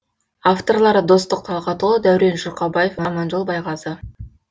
авторлары достық талғатұлы дәурен жұрқабаев аманжол байғазы